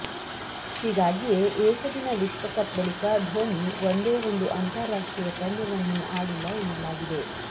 ಹೀಗಾಗಿಯೇ ಏಕದಿನ ವಿಶ್ವಕಪ್ ಬಳಿಕ ಧೋನಿ ಒಂದೇ ಒಂದು ಅಂತಾರಾಷ್ಟ್ರೀಯ ಪಂದ್ಯವನ್ನೂ ಆಡಿಲ್ಲ ಎನ್ನಲಾಗಿದೆ